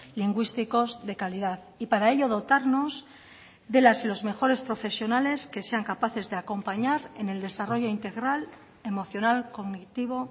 lingüísticos de calidad y para ello dotarnos de las y los mejores profesionales que sean capaces de acompañar en el desarrollo integral emocional cognitivo